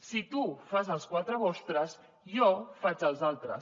si tu fas els quatre vostres jo faig els altres